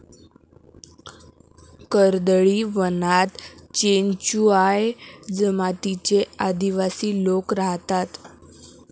कर्दळीवनात चेनचुआ या जमातीचे अदिवासी लोक राहतात.